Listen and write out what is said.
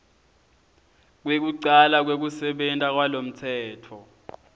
kwekucala kwekusebenta kwalomtsetfo